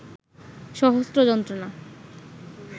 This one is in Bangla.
সহস্র যন্ত্রনা